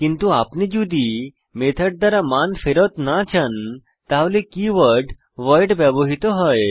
কিন্তু আপনি যদি মেথড দ্বারা মান ফেরত না চান তাহলে কীওয়ার্ড ভয়েড ব্যবহৃত হয়